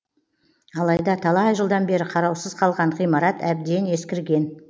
алайда талай жылдан бері қараусыз қалған ғимарат әбден ескірген